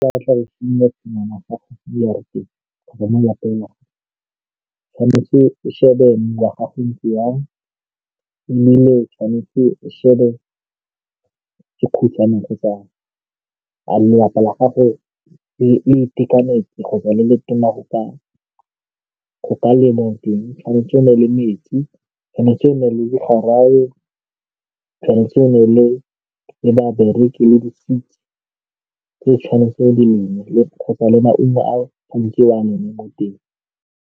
Fa o batla go simolola tshingwana ya gago mo jarateng kgotsa mo lapeng, tshwanetse o shebe mmu wa gago o ntse yang ebile tshwanetse o shebe . A lelapa la gago le itekanetse kgotsa le le tona go ka lema eng. Tshwantse o nne le metsi, tshwanetse o nne le digarawe, tshwanetse o nne le babereki le di-seeds tse tshwanetseng di kgotsa le maungo a mo teng.